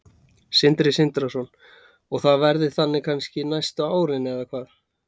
Sindri Sindrason: Og það verði þannig kannski næstu árin eða hvað?